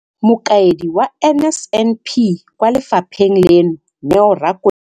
Mokaedi wa NSNP kwa lefapheng leno, Neo Rakwena.